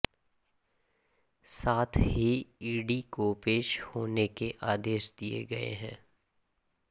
साथ ही ईडी को पेश होने के आदेश दिए गए हैं